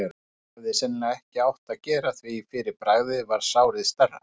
sem ég hefði sennilega ekki átt að gera, því fyrir bragðið varð sárið stærra.